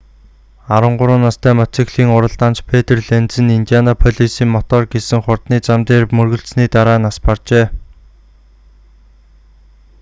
13 настай мотоциклийн уралдаанч петр ленз нь индианаполисын мотор гэсэн хурдны зам дээр мөргөлдсөний дараа нас баржээ